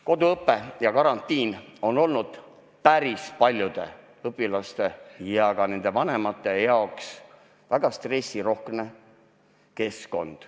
" Koduõpe ja karantiin on päris paljude õpilaste ja ka nende vanemate jaoks olnud väga stressirohke.